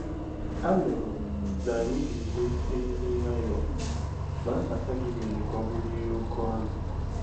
Anụrụ m na ànyị ga-eme emume nwayọọ, ma mbata gị mere ka ọ bụrụ ihe oké ọṅụ